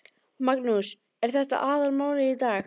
Magnús: Er þetta aðalmálið í dag?